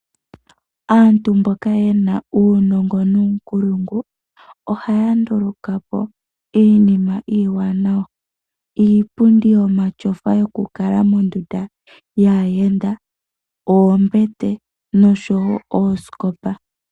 Aantu mboka yena uunongo nuunkulungu ohaya nduluka po iinima iiwanawa ngaashi iipundi yomatyofa yoku kala mondunda yaayenda, oombete noshowo oosikopa.